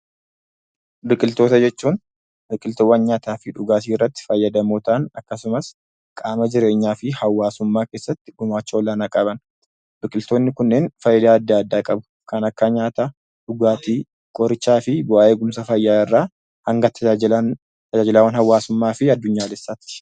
Biqiltoota jechuun biqiltuuwwan nyaataaf dhugaatiirratti fayyadamoo ta'an akkasumas qaama jireenyaa fi hawaasummaa keessatti gumaacha olaanaa qaban. Biqiltoonni kunneen faayidaa adda addaa qabu. Kan akka nyaataa, dhugaatii, qorichaa fi bu'aa eegumsa fayyaa irraa hanga tajaajilan tajaajilawwan hawaasummaa fi addunyaalessaati.